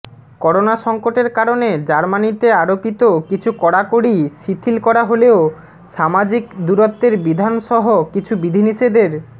corona সংকটের কারণে জার্মানিতে আরোপিত কিছু কড়াকড়ি শিথিল করা হলেও সামাজিক দূরত্বের বিধানসহ কিছু বিধিনিষেধের